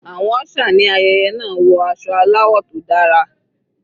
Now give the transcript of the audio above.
Àwọn usher ní ayẹyẹ náà wọ aṣọ aláwọ̀ tó dára.